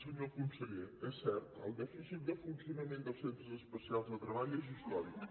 senyor conseller és cert el dèficit de funcionament dels centres especials de treball és històric